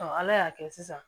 ala y'a kɛ sisan